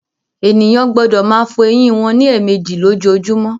Ènìyàn gbọdọ máa fọ ẹyìn wọn ní èèmejì lójoojúmó